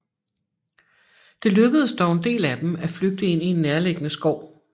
Det lykkedes dog en del af dem at flygte ind i en nærliggende skov